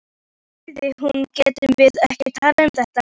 Villi, sagði hún, getum við ekki talað um þetta?